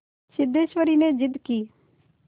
सिद्धेश्वरी ने जिद की